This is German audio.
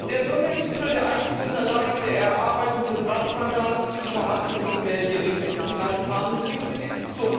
Der Sondergipfel, der einzig und allein der Erarbeitung des Ratsmandats für die Verhandlungen zum mehrjährigen Finanzrahmen gewidmet ist.